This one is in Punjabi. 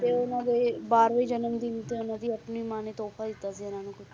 ਤੇ ਉਹਨਾਂ ਦੇ ਬਾਰਵੇਂ ਜਨਮ ਦਿਨ ਤੇ ਉਹਨਾਂ ਦੀ ਆਪਣੀ ਮਾਂ ਨੇ ਤੋਹਫਾ ਦਿੱਤਾ ਸੀ ਇਹਨਾਂ ਨੂੰ ਕੁਛ